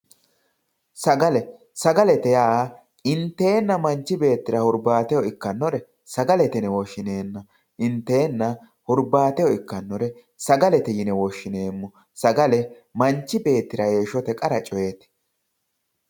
Sagale, sagalete yaa intenna manchi beettira hurbateho ikkanore sagalete yine woshshineemmo intena hurbateho ikkanore sagalete yine woshshineemmo sagale manchi beettira heeshshote qara coyeti.